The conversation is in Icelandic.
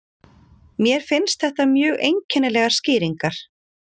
Mér finnst þetta mjög einkennilegar skýringar